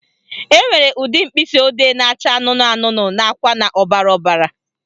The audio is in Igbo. Enwere ụdị mkpịsịodee na-acha anụnụ anụnụ nakwa na ọbara ọbara